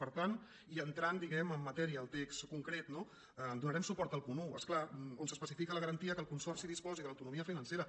per tant i entrant diguem·ne en matèria al text con·cret no donarem suport al punt un és clar on s’espe·cifica la garantia que el consorci disposi de l’autono·mia financera